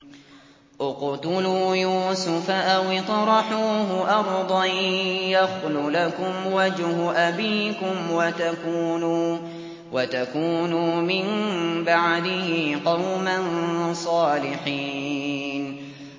اقْتُلُوا يُوسُفَ أَوِ اطْرَحُوهُ أَرْضًا يَخْلُ لَكُمْ وَجْهُ أَبِيكُمْ وَتَكُونُوا مِن بَعْدِهِ قَوْمًا صَالِحِينَ